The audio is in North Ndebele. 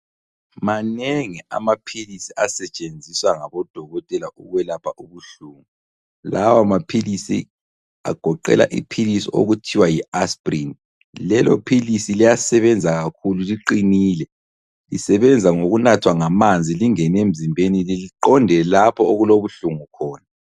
Manengi amaphilisi asetshenziswa ngabodokotela ukwelapha ubuhlungu, lawa maphilisi agoqela iphilisi okuthiwa yi aspirini. Lelo philisi liyasebenza kakhulu liqinile lisebenza ngokunathwa ngamanzi lingene emzimbeni liqonde lapho okulobuhlungu khona.